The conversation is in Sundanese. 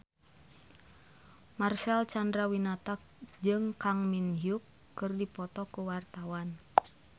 Marcel Chandrawinata jeung Kang Min Hyuk keur dipoto ku wartawan